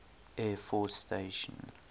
air force station